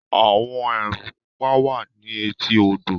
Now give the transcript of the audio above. “àwọn èèrùn pupa” wà ní etí odò.